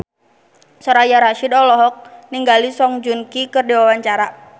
Soraya Rasyid olohok ningali Song Joong Ki keur diwawancara